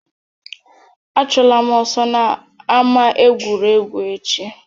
Achụla m ọsọ n'ama egwuregwu echi!